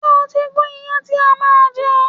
Ṣé o ti gún iyán ti a máa je?